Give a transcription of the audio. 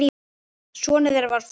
Sonur þeirra var Flosi.